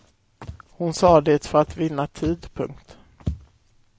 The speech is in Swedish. Hon sa det för att vinna tid. punkt